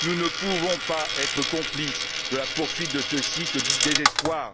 Nous ne pouvons pas être complices de la poursuite de ce cycle du désespoir.